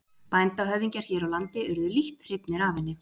Bændahöfðingjar hér á landi urðu lítt hrifnir af henni.